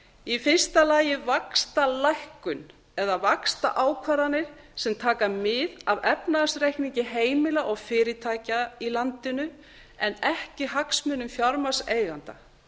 í fyrsta lagi vaxtalækkun eða vaxtaákvarðanir sem taka mið af efnahagsreikningi heimila og fyrirtækja í landinu en ekki hagsmunum fjármagnseigenda